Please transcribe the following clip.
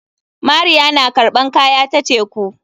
Mariya na karɓan kaya ta teku.